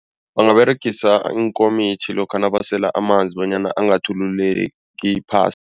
Bangaberegisa iinkomitjhi lokha nabasela amanzi bonyana angathululeki